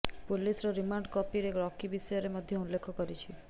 ପୁଲିସର ରିମାଣ୍ଡ କପିରେ ରକି ବିଷୟରେ ମଧ୍ୟ ଉଲ୍ଲେଖ କରିଛି